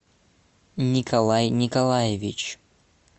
николай николаевич